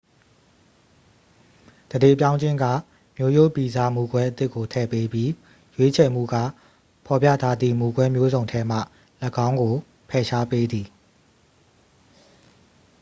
သန္ဓေပြောင်းခြင်းက မျိုးရိုးဗီဇ မူကွဲအသစ်ကို ထည့်ပေးပြီး ရွေးချယ်မှုက ဖော်ပြထားသည့် မူကွဲမျိုးစုံထဲမှ ၎င်းကို ဖယ်ရှားပေးသည်